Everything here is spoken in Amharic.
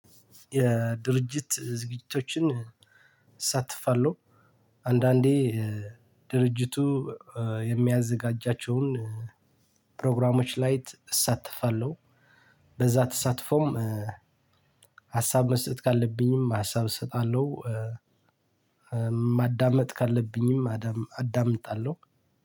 የድርጅት ዝግጅቶችን እሰታፋለሁ አንዳንዴ ድርጅቱ የሚያዘጋጃቸውን ፕሮግራሞች ላይ እሳተፋለሁ። በዛ ተሳትፎም ሀሳብ መስጠት ካለብኝም ሀሳብ እሰጣለሁ። ማዳመጥ ካለብኝም አዳምጣለሁ።